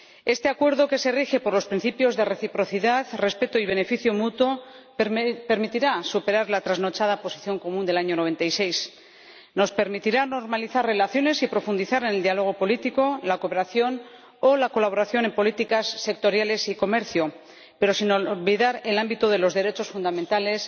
Este Acuerdo, que se rige por los principios de reciprocidad, respeto y beneficio mutuo, permitirá superar la trasnochada Posición Común de 1996. Nos permitirá normalizar relaciones y profundizar en el diálogo político, la cooperación o la colaboración en políticas sectoriales y comercio, pero sin olvidar el ámbito de los derechos fundamentales,